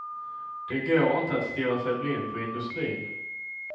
Det går inte att stirra sig blind på industrin.